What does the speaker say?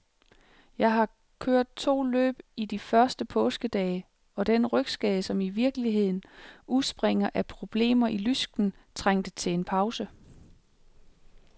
Jeg har kørt to løb i de første påskedage, og den rygskade, som i virkeligheden udspringer af problemer i lysken, trængte til en pause.